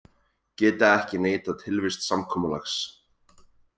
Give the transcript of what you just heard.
Geta ekki neitað tilvist samkomulags